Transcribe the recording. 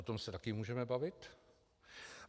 O tom se taky můžeme bavit.